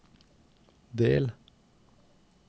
del